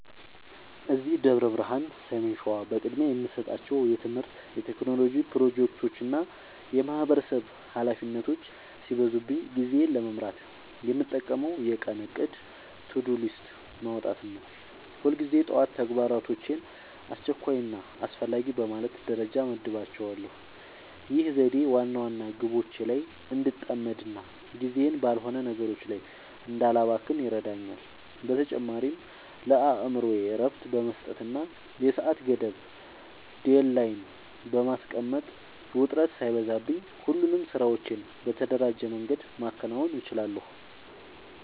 እዚህ ደብረ ብርሃን (ሰሜን ሸዋ) በቅድሚያ የምሰጣቸው የትምህርት፣ የቴክኖሎጂ ፕሮጀክቶችና የማህበረሰብ ኃላፊነቶች ሲበዙብኝ ጊዜዬን ለመምራት የምጠቀመው የቀን እቅድ (To-Do List) ማውጣትን ነው። ሁልጊዜ ጠዋት ተግባራቶቼን አስቸኳይና አስፈላጊ በማለት ደረጃ እመድባቸዋለሁ። ይህ ዘዴ ዋና ዋና ግቦቼ ላይ እንድጠመድና ጊዜዬን ባልሆኑ ነገሮች ላይ እንዳላባክን ይረዳኛል። በተጨማሪም ለአእምሮዬ እረፍት በመስጠትና የሰዓት ገደብ (Deadline) በማስቀመጥ፣ ውጥረት ሳይበዛብኝ ሁሉንም ስራዎቼን በተደራጀ መንገድ ማከናወን እችላለሁ።